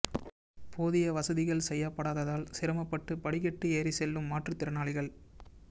போதிய வசதிகள் செய்யப்படாததால் சிரமப்பட்டு படிக்கட்டு ஏறி செல்லும் மாற்றுத் திறனாளிகள்